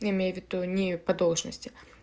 я имею в виду не по должности